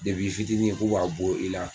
i fitinin k'u b'a bɔ i la